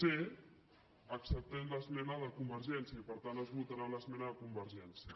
c acceptem l’esmena de convergència i per tant es votarà l’es·mena de convergència